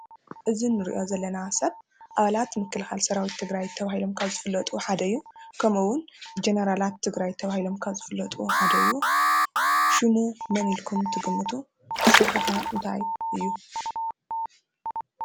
እዚ እንሪኦ ዘለና ሰብ ኣባላት ምክልካል ሰራዊት ትግራይ ተባሂሎም ካብ ዘፍለጡ ሓደ እዩ። ከምኡ እውን ጀነራት ትግራይ ተባሂሎም ካብ ዝፍለጡ ሓደ እዩ። ሽሙ መን ኢልኩም ትግምቱ ስርሑ ከ እንታይ እዩ?